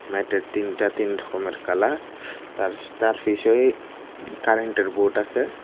ম্যাটের তিনটা তিন রকমের কালার তার তার ফিচয়ে কারেন্টের বোর্ড আছে।